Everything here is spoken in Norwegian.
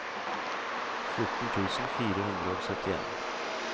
fjorten tusen fire hundre og syttien